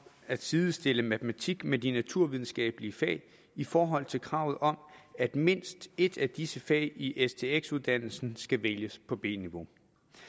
at sidestille matematik med de naturvidenskabelige fag i forhold til kravet om at mindst et af disse fag i stx uddannelsen skal vælges på b niveau